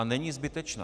A není zbytečná.